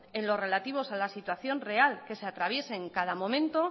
en lo relativos a la situación real que se atraviese en cada momento